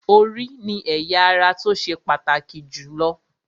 Orí ni ẹ̀ya ara tó ṣe pàtàkì jù lọ